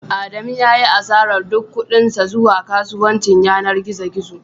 Adamu ya yi asarar duk kuɗin sa zuwa kasuwancin yanar gizo gizo